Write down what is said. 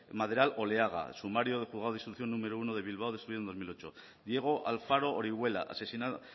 maderal oleaga sumario del juzgado de instrucción número uno de bilbao destruido en dos mil ocho diego alfaro orihuela asesinado